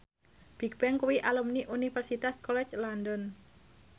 Bigbang kuwi alumni Universitas College London